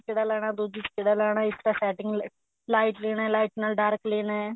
ਕਿਹੜਾ ਲੈਣਾ ਦੁੱਜੀ ਚ ਕਿਹੜਾ ਲੈਣਾ ਇਸ ਤਰ੍ਹਾਂ setting light ਲੇਣਾ light ਨਾਲ dark ਲੇਣਾ